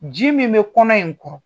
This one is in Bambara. Ji min bɛ kɔnɔ in kɔrɔ